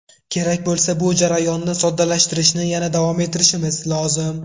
Kerak bo‘lsa, bu jarayonni soddalashtirishni yana davom ettirishimiz lozim.